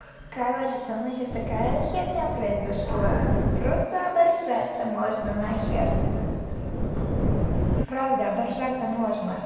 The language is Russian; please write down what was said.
короче со мной сейчас такая херня произошла просто оборжаться можно нахер правда оборжаться можно